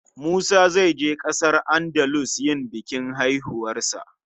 Musa zai je ƙasar Andalus yin bikin haihuwar 'yarsa.